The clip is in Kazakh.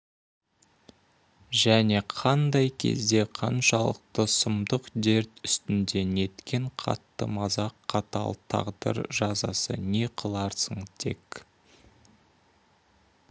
және қандай кезде қаншалық сұмдық дерт үстінде неткен қатты мазақ қатал тағдыр жазасы не қыларсың тек